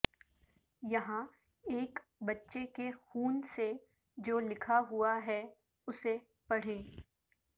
یہا ںایک بچے کے خون سے جو لکھا ہوا ہے اسے پڑھیں